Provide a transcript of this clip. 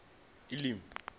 elimi